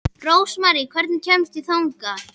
Rósmarý, hvernig kemst ég þangað?